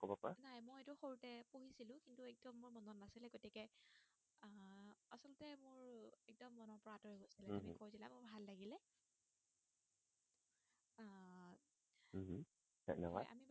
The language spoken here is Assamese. ধন্যবাদ